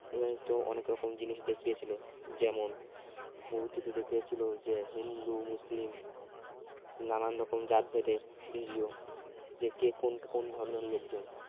উম তো অনেক রকম জিনিস দেখিয়েছিলেন যেমন movie টিতে দেখিয়েছিল যে হিন্দু-মুসলিম নানান রকম জাত ভেদের ভিরিও যে কে কোন ধর্মের লোকজন